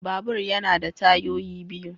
Babur yana da tayoyi biyu